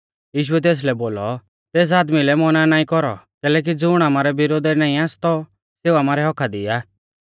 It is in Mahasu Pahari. यीशुऐ तेसलै बोलौ तेस आदमी लै मौना नाईं कौरौ कैलैकि ज़ुण आमारै विरोधा ई नाईं आसतौ सेऊ आमारै हक्क्का दी आ